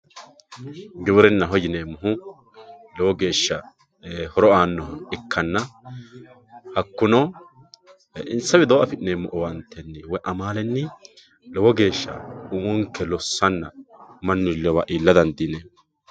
Giwirinaho yinemohu lowo geesha horo aanoha ikkana hakuno insa widoo afinemo owaanteni woyi amaleni lowo geesha umonke losanna mani iiliwa iila dandineemo.